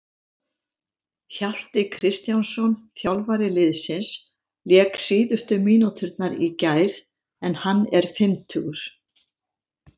Hjalti Kristjánsson, þjálfari liðsins, lék síðustu mínúturnar í gær en hann er fimmtugur.